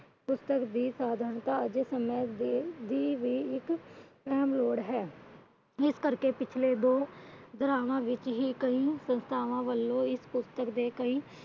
ਪੁਸਤਕ ਦੀ ਦੀ ਵੀ ਇੱਕ ਅਹਿਮ ਲੋੜ ਹੈ। ਇਸ ਕਰਕੇ ਪਿਛਲੇ ਦੋ ਕਈ ਸੰਸਥਾਵਾਂ ਵਲੋਂ ਇਸ ਪੁਸਤਕ ਦੇ ਕਈ